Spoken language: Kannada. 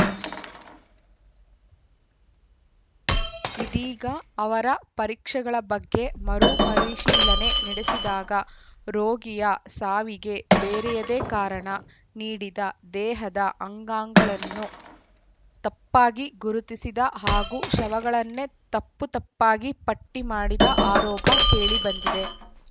ಇದೀಗ ಅವರ ಪರೀಕ್ಷೆಗಳ ಬಗ್ಗೆ ಮರುಪರಿಶೀಲನೆ ನಡೆಸಿದಾಗ ರೋಗಿಯ ಸಾವಿಗೆ ಬೇರೆಯದೇ ಕಾರಣ ನೀಡಿದ ದೇಹದ ಅಂಗಾಂಗಳನ್ನು ತಪ್ಪಾಗಿ ಗುರುತಿಸಿದ ಹಾಗೂ ಶವಗಳನ್ನೇ ತಪ್ಪುತಪ್ಪಾಗಿ ಪಟ್ಟಿಮಾಡಿದ ಆರೋಪ ಕೇಳಿಬಂದಿದೆ